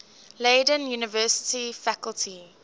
leiden university faculty